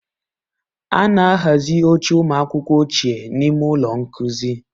A na-ahazi oche ụmụ akwụkwọ ochie n'ime ụlọ nkuzi.